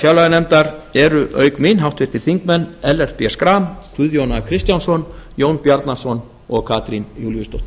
fjárlaganefndar eru auk mín háttvirtir þingmenn ellert b áfram guðjón a kristjánsson jón bjarnason og katrín júlíusdóttir